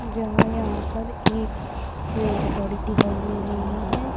जहां यहां पर एक रेल गाड़ी दिखाई दे रही है।